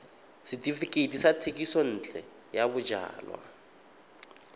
setefikeiti sa thekisontle ya bojalwa